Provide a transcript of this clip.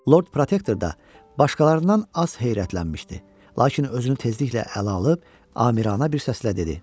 Lord Protektor da başqalarından az heyrətlənmişdi, lakin özünü tezliklə ələ alıb, amiranə bir səslə dedi.